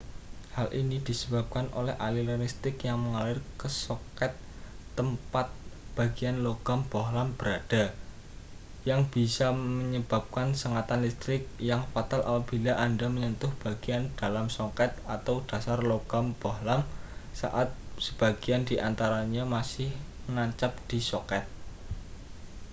hal ini disebabkan oleh aliran listrik yang mengalir ke soket tempat bagian logam bohlam berada yang bisa menyebabkan sengatan listrik yang fatal apabila anda menyentuh bagian dalam soket atau dasar logam bohlam saat sebagian di antaranya masih menancap di soket